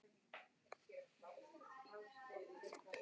kirkjupresti sem eyðir fríum sínum á golfvellinum með Tom